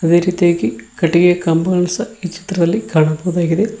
ಅದೇ ರೀತಿಯಾಗಿ ಕಟ್ಟಿಗೆ ಕಂಬಗಳನ್ನು ಸಹ ಈ ಚಿತ್ರದಲ್ಲಿ ಕಾಣಬಹುದಾಗಿದೆ.